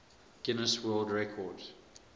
guinness world record